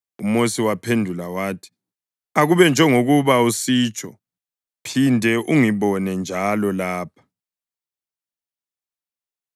UMosi waphendula wathi, “Akube njengokuba usitsho. Phinde ungibone njalo lapha.”